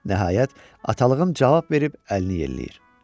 Nəhayət, atalığı cavab verib əlini yelləyir.